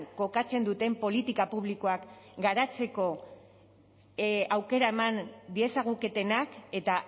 kokatzen duten politika publikoak garatzeko aukera eman diezaguketenak eta